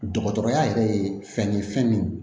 Dɔgɔtɔrɔya yɛrɛ ye fɛn ye fɛn min